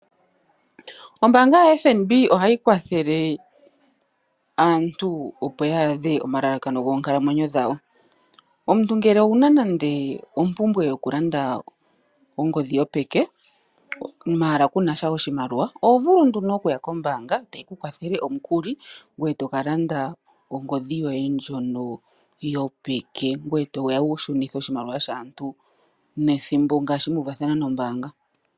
Ombaanga yoFNB ohayi kwathele aantu opo ya adhe omalalakano goonkalamwenyo dhawo. Omuntu ngele owuna nande ompumbwe yokulanda ongodhi yopeke, maala kunatya oshimaliwa, oho vulu nduno okuya kombaanga ta yi ku wathele omukuli, ngoye tokalanda ongodhi yoye ndjono yopeke, ngoye toya wushunithe oshimaliwa shaantu nethimbo ngaashi muuvathana nombaanga.